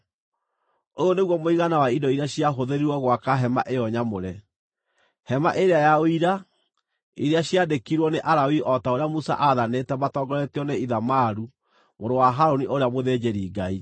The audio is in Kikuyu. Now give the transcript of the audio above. Ũyũ nĩguo mũigana wa indo iria ciahũthĩrirwo gwaka hema ĩyo nyamũre, Hema-ĩrĩa-ya-Ũira, iria ciandĩkirwo nĩ Alawii o ta ũrĩa Musa aathanĩte matongoretio nĩ Ithamaru mũrũ wa Harũni ũrĩa mũthĩnjĩri-Ngai.